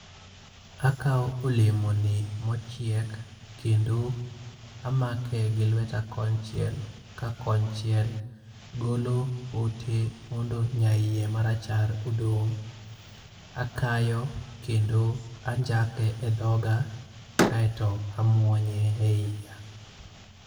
Akawo olemo ni mochiek kendo amake gi lweta konchiel, ka konchiel golo pote mondo nyaiye marachar odong'. Akayo, kendo anjake e dhoga kaeto amwonye e iya